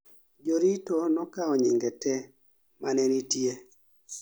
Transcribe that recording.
jorit o nokao nyinge te mane nitie